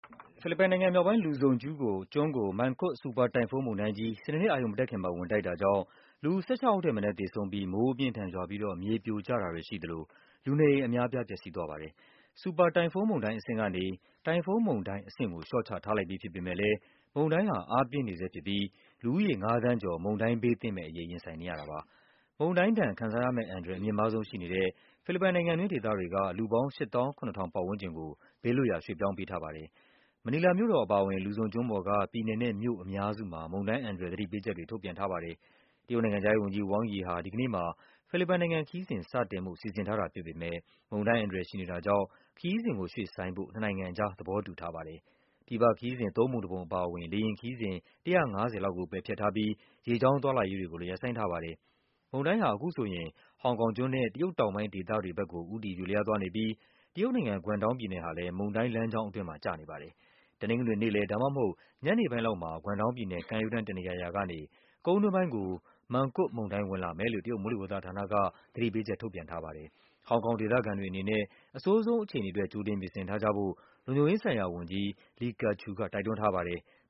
ဖိလစ်ပိုင်နိုင်ငံမြောက်ပိုင်း Luzon ကျွန်းကို Mangkhut ဆူပါတိုင်ဖုန်းမုန်တိုင်းကြီး စနေနေ့ အရုဏ်မတက်ခင်မှာ ဝင်တိုက်တာ ကြောင့် လူ ၁၆ ယောက်ထက်မနည်း သေဆုံးပြီး မိုး အပြင်းအထန် ရွာပြီးတော့ မြေပြိုကျတာတွေရှိသလို လူနေအိမ်အများအပြား ပျက်စီးသွားပါတယ်။ ဆူပါတိုင်ဖုန်းမုန်တိုင်းအဆင့်ကနေ တိုင်ဖုန်းမုန်တိုင်းအဆင့်ကို လျှော့ချထားလိုက်ပြီးဖြစ်ပေမဲ့လည်း မုန်တိုင်းဟာ အားပြင်းနေဆဲ ဖြစ်ပြီး လူဦးရေ ၅ သန်းကျော် မုန်တိုင်းဘေးသင့်မယ့်အရေး ရင်ဆိုင်နေရတာပါ။ မုန်တိုင်းဒဏ် ခံစားရမယ့်အန္တရာယ် အမြင့်မားဆုံးရှိနေတဲ့ ဖိလစ်ပိုင်နိုင်ငံတွင်း ဒေသတွေက လူပေါင်း ၈၇,၀၀၀ ပတ်ဝန်းကျင်ကို ဘေးလွတ်ရာ ရွှေ့ပြောင်းပေးထားပါတယ်။ မနီလာမြို့တော်အပါအဝင် Luzon ကျွန်းပေါ်က ပြည်နယ်နဲ့မြို့အများစုမှာ မုန်တိုင်း အန္တရာယ် သတိပေးချက်တွေ ထုတ်ပြန်ထားပါတယ်။ တရုတ်နိုင်ငံခြားရေးဝန်ကြီး Wang Yi ဟာ တနင်္ဂနွေနေ့မှာ ဖိလစ်ပိုင်နိုင်ငံခရီးစဉ် စတင်ဖို့ စီစဉ် ထားပေမဲ့ မုန်တိုင်း အန္တရာယ်ရှိနေတာကြောင့် ခရီးစဉ်ကိုရွှေ့ဆိုင်းဖို့ နှစ်နိုင်ငံအကြား သဘောတူ ထားပါတယ်။ ပြည်ပခရီးစဉ် သုံးပုံတပုံအပါအဝင် လေယာဉ်ခရီးစဉ် ၁၅၀ လောက်ကို ပယ်ဖျက် ထားပြီး ရေကြောင်းသွားလာရေးကိုလည်း ရပ်ဆိုင်းထားပါတယ်။ မုန်တိုင်းဟာ အခုဆိုရင် ဟောင်ကောင်ကျွန်းနဲ့ တရုတ်တောင်ပိုင်းဒေသတွေဘက်ကို ဦးတည် ရွေ့လျားသွားနေပြီး တရုတ်နိုင်ငံ၊ Guangdong ပြည်နယ်ဟာလည်း မုန်တိုင်းလမ်းကြောင်း အတွင်းမှာ ကျနေပါတယ်။ တနင်္ဂနွေနေ့လည် ဒါမှမဟုတ် ညနေပိုင်း လောက်မှာ Guangdong ပြည်နယ် ကမ်းရိုးတန်းတနေရာရာကနေ ကုန်းတွင်းပိုင်းကို Mangkhut မုန်တိုင်း ဝင်လာမယ်လို့ တရုတ် မိုးလေဝသဌာနက သတိပေးချက်ထုတ်ပြန်ထားပါတယ်။ ဟောင်ကောင်ဒေသခံတွေအနေနဲ့ အဆိုးဆုံးအခြေအနေအတွက် ကြိုတင်ပြင်ဆင်ထားကြဖို့ လုံခြုံရေးဆိုင်ရာဝန်ကြီး Lee Ka-chiu က တိုက်တွန်းထားပါတယ်။